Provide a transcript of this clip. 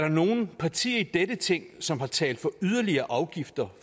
nogen partier i dette ting som har talt for yderligere afgifter